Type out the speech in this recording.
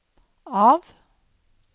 av